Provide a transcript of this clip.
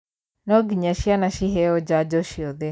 No nginya cina ciheo janjo ciothe.